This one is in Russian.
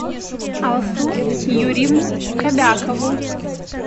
алсу юрьевну кобякову